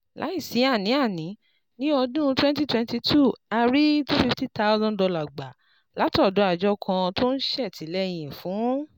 Láìsí àní-àní, ní ọdún 2022, a rí $250,000 gbà látọ̀dọ̀ àjọ kan tó ń ṣètìlẹ́yìn fún